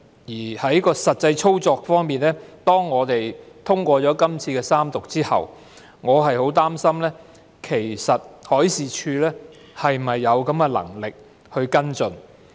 至於實際操作方面，我很擔心在《條例草案》獲三讀通過後，海事處是否有能力跟進。